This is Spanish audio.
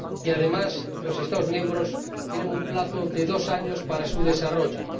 Y, además, los Estados miembros tienen un plazo de dos años para desarrollarla.